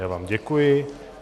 Já vám děkuji.